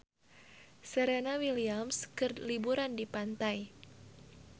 Serena Williams keur liburan di pantai